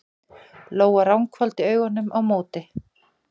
Lóa ranghvolfdi augunum á móti.